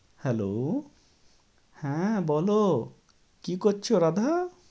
Hello হ্যাঁ বলো। কী করছো রাঁধা?